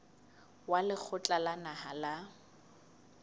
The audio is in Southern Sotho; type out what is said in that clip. wa lekgotla la naha la